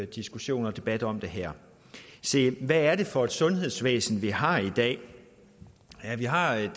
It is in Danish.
diskussion og debat om det her se hvad er det for et sundhedsvæsen vi har i dag vi har et